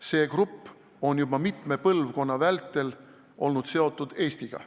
See grupp on juba mitme põlvkonna vältel olnud seotud Eestiga.